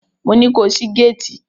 Mo ní ko ṣí géétì!